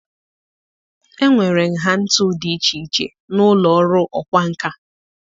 Enwere nha ntu dị iche iche na ụlọ ọrụ ọkwá nkà.